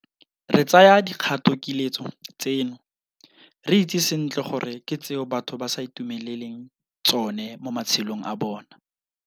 Re tsaya dikgatokiletso tseno re itse sentle gore ke tseo batho ba sa itumeleleng tsone mo matshelong a bona.